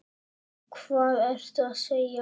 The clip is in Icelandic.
Og hvað ertu að segja?